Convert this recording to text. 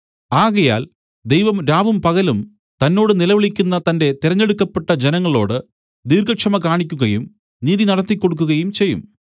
ആകയാൽ ദൈവം രാവും പകലും തന്നോട് നിലവിളിക്കുന്ന തന്റെ തെരെഞ്ഞെടുക്കപ്പെട്ട ജനങ്ങളോട് ദീർഘക്ഷമ കാണിക്കുകയും നീതി നടത്തി കൊടുക്കുകയും ചെയ്യും